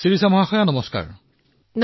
শিৰিষা জী নমস্কাৰ